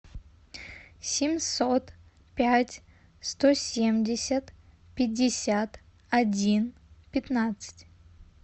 семьсот пять сто семьдесят пятьдесят один пятнадцать